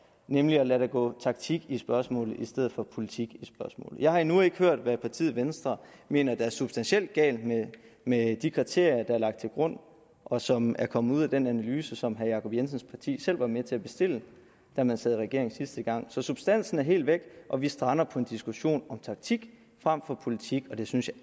nemlig at lade der gå taktik i spørgsmålet i stedet for politik i spørgsmålet jeg har endnu ikke hørt hvad partiet venstre mener der substantielt er galt med de kriterier der er lagt til grund og som er kommet ud af den analyse som herre jacob jensens parti selv var med til at bestille da man sad i regering sidste gang så substansen er helt væk og vi strander på en diskussion om taktik frem for politik og det synes jeg